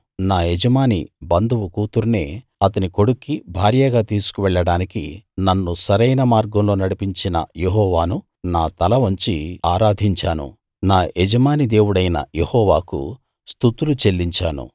నా యజమాని బంధువు కూతుర్నే అతని కొడుక్కి భార్యగా తీసుకు వెళ్ళడానికి నన్ను సరైన మార్గంలో నడిపించిన యెహోవాను నా తలవంచి ఆరాధించాను నా యజమాని దేవుడైన యెహోవాకు స్తుతులు చెల్లించాను